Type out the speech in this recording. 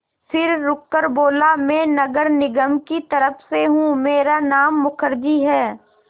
फिर रुककर बोला मैं नगर निगम की तरफ़ से हूँ मेरा नाम मुखर्जी है